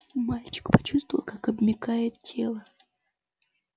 мальчик почувствовал как обмякает тело